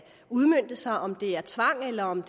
udmønte sig om det er tvang eller om